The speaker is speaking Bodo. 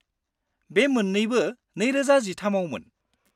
-बे मोन्नैबो 2013 आवमोन।